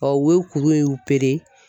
u ye kuru in